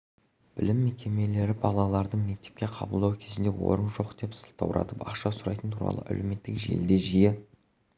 білім мекемелері балаларды мектепке қабылдау кезінде орын жоқ деп сылтауратып ақша сұрайтыны туралы әлеуметтік желіде жиі